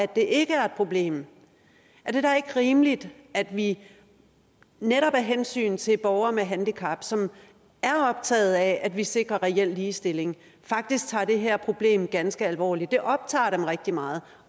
det ikke er et problem er det da ikke rimeligt at vi netop af hensyn til borgere med handicap som er optaget af at vi sikrer reel ligestilling faktisk tager det her problem ganske alvorligt det optager dem rigtig meget